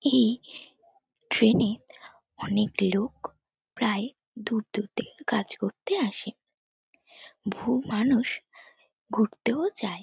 এই ট্রেনে অনেক লোক প্রায় দূর দূর থেকে কাজ করতে আসে বহু মানুষ ঘুরতেও যায়।